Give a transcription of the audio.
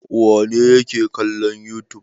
Wane ne yake kallon youtube?